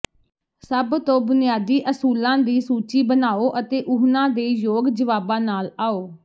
ਸਭ ਤੋਂ ਬੁਨਿਆਦੀ ਅਸੂਲਾਂ ਦੀ ਸੂਚੀ ਬਣਾਉ ਅਤੇ ਉਹਨਾਂ ਦੇ ਯੋਗ ਜਵਾਬਾਂ ਨਾਲ ਆਓ